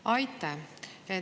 Aitäh!